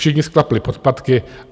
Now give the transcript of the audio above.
Všichni sklapli podpatky.